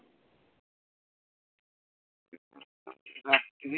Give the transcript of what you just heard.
রাত্রি